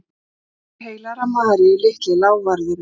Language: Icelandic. Klukkur heilagrar Maríu, Litli lávarðurinn